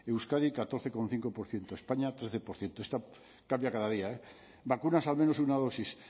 euskadi catorce coma cinco por ciento españa trece esta cambia cada día vacunas al menos una dosis